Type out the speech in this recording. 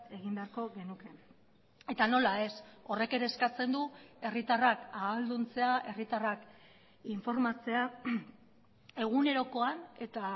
egin beharko genuke eta nola ez horrek ere eskatzen du herritarrak ahalduntzea herritarrak informatzea egunerokoan eta